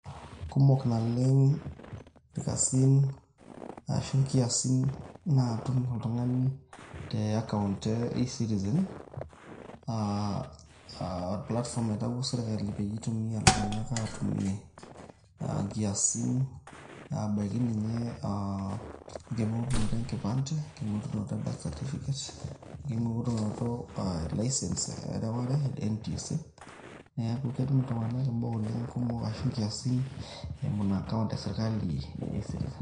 Kumok naleng' irkasin arashu inkiasin naatum oltung'ani te account aa platform naitayio sirkali peyie itumia iltung'anak aatumie aa inkiasin ebaiki ninye aa enking'orunoto enkipande, enking'orunot e birth certificate, enking'orunoto aa e license ereware e NTSA, neeku ketum iltng'anak imbaa oleng' kumok ashu inkiasin eimu ina account esirkali e eCitizen.